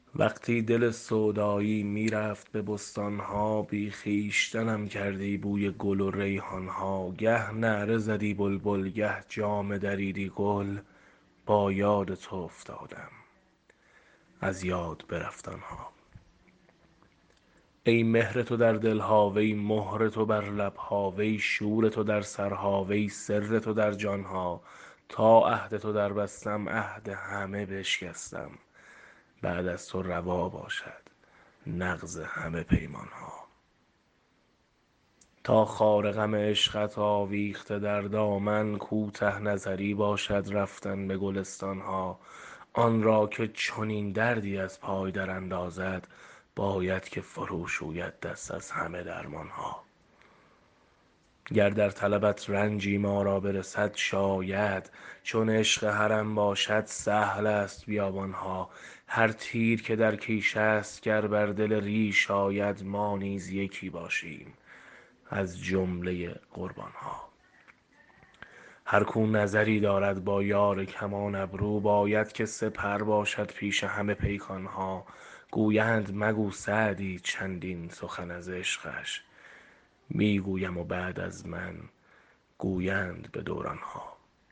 وقتی دل سودایی می رفت به بستان ها بی خویشتنم کردی بوی گل و ریحان ها گه نعره زدی بلبل گه جامه دریدی گل با یاد تو افتادم از یاد برفت آن ها ای مهر تو در دل ها وی مهر تو بر لب ها وی شور تو در سرها وی سر تو در جان ها تا عهد تو دربستم عهد همه بشکستم بعد از تو روا باشد نقض همه پیمان ها تا خار غم عشقت آویخته در دامن کوته نظری باشد رفتن به گلستان ها آن را که چنین دردی از پای دراندازد باید که فروشوید دست از همه درمان ها گر در طلبت رنجی ما را برسد شاید چون عشق حرم باشد سهل است بیابان ها هر تیر که در کیش است گر بر دل ریش آید ما نیز یکی باشیم از جمله قربان ها هر کاو نظری دارد با یار کمان ابرو باید که سپر باشد پیش همه پیکان ها گویند مگو سعدی چندین سخن از عشقش می گویم و بعد از من گویند به دوران ها